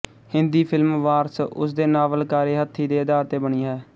Hindi film Waris ਉਸਦੇ novel ਕਾਰੇ ਹੱਥੀ ਦੇ ਅਧਾਰ ਤੇ ਬਣੀ ਹੈ